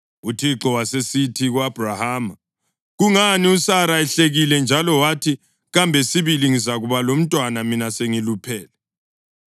UThixo wasesithi ku-Abhrahama, “Kungani uSara ehlekile njalo wathi, ‘Kambe sibili ngizakuba lomntwana mina sengiluphele?’